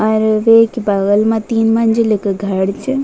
और वेक बगल मा तीन मंजिल्क घर च।